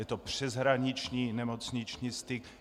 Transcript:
Je to přeshraniční nemocniční styk.